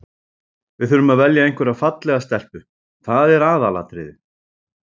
Við þurfum að velja einhverja fallega stelpu, það er aðalatriðið.